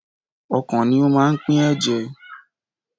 Ọkàn ni ó máa ń pín ẹ̀jẹ̀.